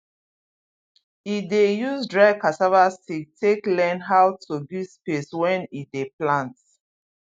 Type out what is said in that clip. e dey use dry cassava stick take learn how to give space when e dey plant